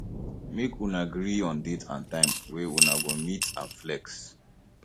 make una agree on date and time wey una go meet and flex